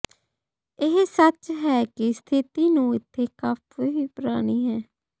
ਇਹ ਸੱਚ ਹੈ ਕਿ ਸਥਿਤੀ ਨੂੰ ਇੱਥੇ ਕਾਫ਼ੀ ਪੁਰਾਣੀ ਹੈ